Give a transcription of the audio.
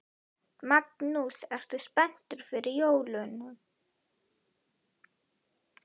Magnús: Ertu spenntur fyrir jólunum?